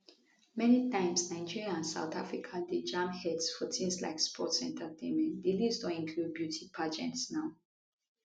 many times nigeria and south africa dey jam heads for tins like sports entertainment di list don include beauty pageant now